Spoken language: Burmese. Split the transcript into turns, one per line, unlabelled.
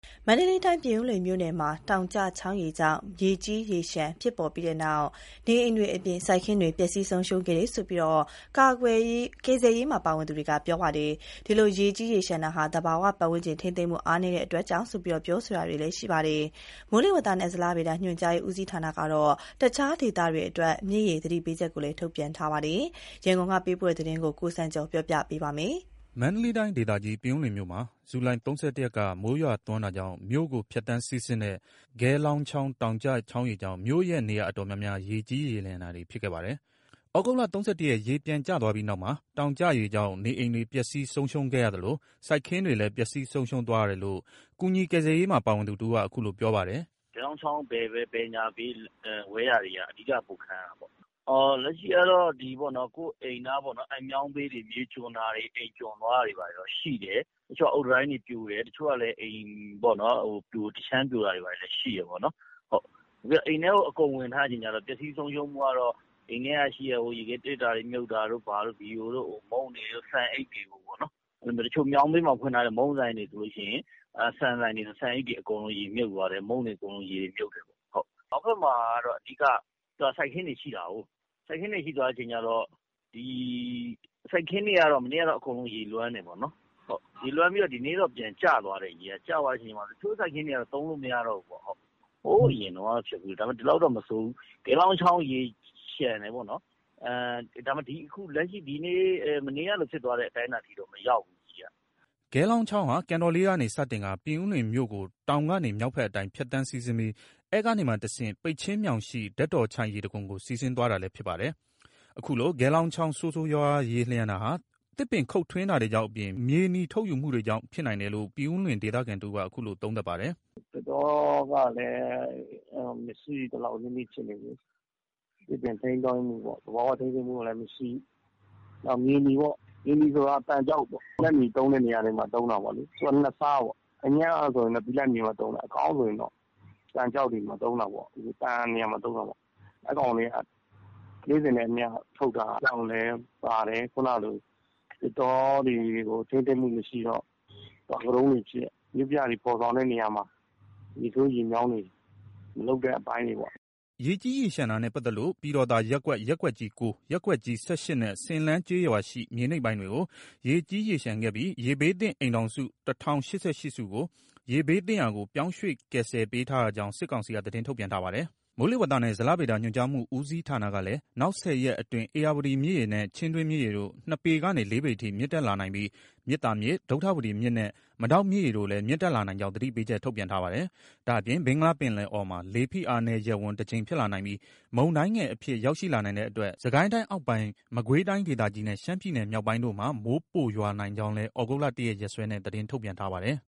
မန္တလေးတိုင်း ပြင်ဦးလွင် မြို့နယ်မှာ တောင်ကျချောင်းရေကြောင့် ရေကြီးရေလျှံဖြစ်ပြီး နေအိမ်တွေအပြင် စိုက်ခင်းတွေပျက်စီးဆုံးရှုံးခဲ့တယ်လို့ ကယ်ဆယ်ရေးမှာ ပါဝင်သူတွေက ပြောပါတယ်။ အခုလို ရေကြီးရေလျှံတာဟာ သဘာဝပတ်ဝန်းကျင် ထိန်းသိမ်းမှုအားနည်းတဲ့အတွက်ကြောင့်လို့ ပြောဆိုတာတွေလည်းရှိပါတယ်။ မိုးလေဝသနှင့်ဇလဗေဒညွှန်ကြားမှုဦးစီးဌာနကတော့ တခြားဒေသတွေအတွက် မြစ်ရေ သတိပေးချက်တွေလည်း ထုတ်ပြန်ထားပါတယ်။ ရန်ကုန်က ပေးပို့လာတဲ့ သတင်းကို ကိုစံကျော်က တင်ပြပေးထားပါတယ်။
မန္တလေးတိုင်းဒေသကြီး ပြင်ဦးလွင်မြို့မှာ ဇူလိုင် ၃၁ ရက်က မိုးရွာသွန်းတာကြောင့် မြို့ကိုဖြတ်သန်းစီးဆင်းတဲ့ ဂဲလောင်းချောင်း တောင်ကျချောင်းရေကြောင့် မြို့ရဲ့ နေရာတော်တော်များများ ရေကြီးရေလျှံခဲ့ပါတယ်။ သြဂုတ်လ ၃၁ ရက် ရေပြန်ကျသွားပြီးနောက်မှာ တောင်ကျရေကြောင့် နေအိမ်တွေပျက်စီး ဆုံးရှုံးခဲ့ရသလို စိုက်ခင်းတွေလည်း ပျက်စီးဆုံးရှုံးသွားတယ်လို့ ကူညီကယ်ဆယ်ရေးမှာ ပါဝင်သူတဦးက အခုလိုပြောပါတယ်။ “
အဓိက က ဂဲလောင်းချောင်း ဘေးဝဲယာပေါ့နော်။ ဂဲလောင်းချောင်းဘေး ဘယ် ညာ ဝဲယာတွေက ပိုခံရတာပေါ့နော်။ အဓိက က အိမ်တွေမြေကျွံတာ၊ အိမ်ကျွံသွားတာတွေတော့ရှိတယ်။ တချို့က အုတ်တံတိုင်းတွေပြိုတယ်။ တချို့ကလည်း အိမ်တခြမ်းပြိုတာတွေလည်းရှိတယ်ပေါ့နော်။ အိမ်ထဲကို အကုန်ဝင်ထားတော့ ပျက်စီးဆုံးရှုံးမှုက အိမ်ထဲက ရေခဲသေတ္တာ မြုပ်တာတို့ဘာတို့ ဘီရိုတို့၊ မုန့်တွေတို့၊ဆန်အိတ်တွေတို့၊ တချို့မြောင်းဘေးမှာဖွင့်ထားတဲ့ မုန့်ဆိုင်တွေ၊ ဆန်ဆိုင်တွေဆိုရင် ဆန်အိတ်တွေအကုန် ရေမြုပ်သွားတယ်။ မုန့်တွေအကုန်လုံးရေတွေမြုပ်တယ်ပေါ့။ မြောက်ဘက်မှာက အဓိက စိုက်ခင်းတွေရှိတာကို စိုက်ခင်းတွေက မနေ့ ကတော့ အကုန်ရေလွှမ်းတယ်ပေါ့။ ဒီနေ့တော့ ရေကပြန်ကျသွားတယ်။ ကျသွားတဲ့အချိန်မှာ တချို့ စိုက်ခင်းတွေက သုံးလို့မရတော့ဘူး။ အရင်ကတော့ ဖြစ်ဖူးတယ်။ ဒီလောက်အခြေအနေအထိတော့ မဆိုးဘူး။ ဟိုးအရင်ကဖြစ်ဖူးတယ်။ ဒီလောက်တော့မဆိုးဘူး။ ဂဲလောင်းချောင်းရေလျှံတယ်ပေါ့။ လက်ရှိ မနေ့ကလိုဖြစ်တဲ့အတိုင်းအတာ ထိတော့မရောက်ဖူးဘူး။”
ဂဲလောင်းချောင်းဟာ ကန်တော်လေးကနေ စတင်ကာ ပြင်ဦးလွင်မြို့ကို တောင် ကနေ မြောက်ဘက်အတိုင်း ဖြတ်သန်းစီးဆင်းပြီး အဲ့ကနေမှတဆင့် ပိတ်ချင်းမြောင်ရှိ ဓာတ်တော်ချိုင့်ရေတံခွန်ကို စီးဆင်းသွားတာလည်း ဖြစ်ပါတယ်။ အခုလို ဂဲလောင်းချောင်း ဆိုးဆိုးရွားရွားရေလျှံတာဟာ သစ်ပင်ခုတ်ထွင်းတာတွေအပြင် မြေနီထုတ်ယူမှုတွေကြောင့်ဖြစ်နိုင်တယ်လို့ ပြင်ဦးလွင်ဒေသခံတဦးက အခုလို သုံးသပ်ပါတယ်
။ “သစ်တောကလည်း မရှိသလောက်နီးနီးဖြစ်နေပြီ
။ သစ်ပင်ထိန်းကျောင်းမှု၊ သဘာဝ ထိန်းကျောင်းမှုကလည်းမရှိ။ နောက်ပြီးမြေနီပေါ့- မြေနီဆိုတာ သံကျောက်ပေါ့။ ဘိလပ်မြေသုံးတဲ့နေရာတွေမှာ သုံးတာလေ။ သူက ၂ စားပေါ့။ အညံ့ကဆိုရင် ဘိလပ်မြေမှာသုံးတယ်။ အကောင်းကဆိုရင် သံကျောက်တွေမှာ သုံးတာပေါ့။ သံနေရာမှာ သုံးတာပေါ့။ အဲ့ကောင်တွေက နေ့စဉ်နဲ့အမျှ ထုတ်တာကြောင့်လည်းပါတယ်။ ခုနကလို သစ်တောတွေကို ထိန်းသိမ်းမှုမရှိတော့ တောင်ကတုံးတွေဖြစ် မြို့ပြတွေ ဖော်ဆောင်တဲ့နေရာမှာ ရေဆိုးရေမြောင်းတွေ မလုပ်တဲ့အပိုင်းတွေပေါ့။”
ရေကြီးရေလျှံတာနဲ့ပတ်သက်လို့ ပြည်တော်သာရပ်ကွက် ရပ်ကွက်ကြီး ၉၊ ရပ်ကွက်ကြီး ၁၈ နဲ့ ဆင်လမ်းကျေးရွာရှိ မြေနိမ့်ပိုင်းတွေကို ရေကြီးရေလျှံခဲ့ပြီး ရေဘေးသင့် အိမ်ထောင်စု ၁,၀၈၈ စုကို ရေဘေးသင့်ရာကို ပြောင်းရွှေ့ကယ်ဆယ်ပေးထားရကြောင်း စစ်ကောင်စီက သတင်းထုတ်ပြန်ထားပါတယ်။ မိုးလေဝသနဲ့ ဇလဗေဒညွှန်ကြားမှုဦးစီးဌာနကလည်း နောက် ၁၀ ရက်အတွင်း ဧရာဝတီမြစ်ရေနဲ့ ချင်းတွင်းမြစ်ရေတို့ ၂ ပေကနေ ၄ ပေအထိ မြင့်တက်လာနိုင်ပြီး မြစ်သာမြစ်၊ ဒုဌဝတီမြစ်နဲ့ မဒေါက်မြစ်ရေတို့လည်း မြင့်တက်လာနိုင်ကြောင်းသတိပေးချက် ထုတ်ပြန်ထားပါတယ်။ ဒါ့အပြင် ဘင်္ဂလားပင်လယ်အော်မှာ လေဖိအားနည်းရပ်ဝန်း ၁ ကြိမ်ဖြစ်လာနိုင်ပြီး မုန်တိုင်းငယ်အဖြစ် ရောက်ရှိလာနိုင်တဲ့အတွက် စစ်ကိုင်းတိုင်းအောက်ပိုင်း၊ မကွေးတိုင်းဒေသကြီးနဲ့ ရှမ်းပြည်နယ်မြောက်ပိုင်းတို့မှာ မိုးပိုရွာနိုင်ကြောင်းလည်း သြဂုတ် လ ၁ ရက် ရက်စွဲနဲ့ သတင်းထုတ်ပြန်ထားပါတယ်။